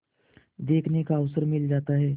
देखने का अवसर मिल जाता है